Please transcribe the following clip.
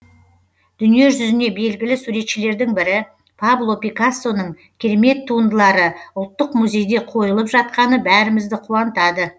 дүниежүзіне белгілі суретшілердің бірі пабло пикассоның керемет туындылары ұлттық музейде қойылып жатқаны бәрімізді қуантады